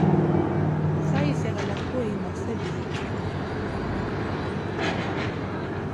Saisyek alak koimakse piik.